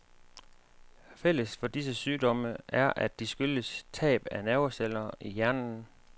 Fælles for disse sygdomme er, at de skyldes tab af nerveceller i hjernen.